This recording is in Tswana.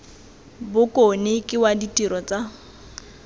bokone ke wa ditiro tsa